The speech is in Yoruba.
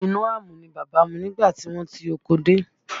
Omi inú àmù ni bàbá mu nígbà tí wọ́n ti oko dé